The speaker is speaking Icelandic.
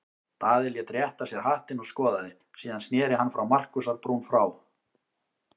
Daði lét rétta sér hattinn og skoðaði, síðan sneri hann Markúsar-Brún frá.